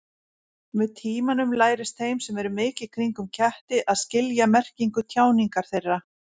Með tímanum lærist þeim sem eru mikið kringum ketti að skilja merkingu tjáningar þeirra.